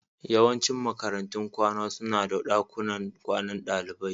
Yawancin makarantun kwana suna da dakunan kwanan dalibai